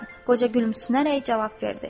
Qoca gülümsünərək cavab verdi.